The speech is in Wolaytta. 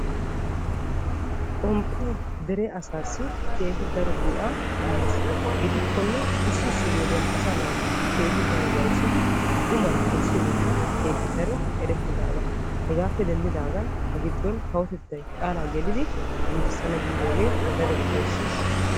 Xomppe dere asaasi keehi daro qofaa imees gidikkonne asaa naata wayssiddi xuman ayssiyooge erettidaaga gidikkonne kawotettay giigissana giidoge ufayssees.